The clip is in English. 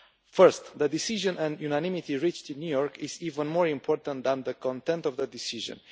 Firstly, the decision and unanimity reached in New York is even more important than the content of the decision.